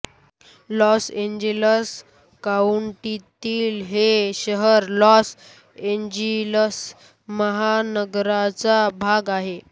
loss Angeles काउंटीतील हे शहर लॉस एंजेलस महानगराचा भाग आहे